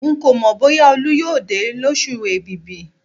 Ń kò mọ bóyá Olú yóò dé lósù èbìbì